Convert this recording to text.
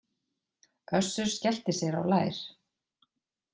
Össur skellti sér á lær.